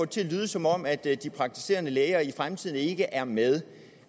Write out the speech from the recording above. til at lyde som om at de praktiserende læger i fremtiden ikke er med